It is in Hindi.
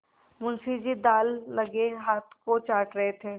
मुंशी जी दाललगे हाथ को चाट रहे थे